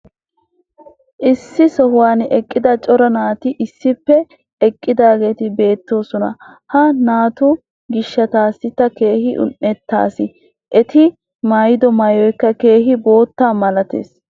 issi sohuwan eqqida cora naati issippe eqqididaageeti beetoosona. ha naatu gishataassi ta keehi un'etays. eti maayido maayoykka keehi bootta malatees.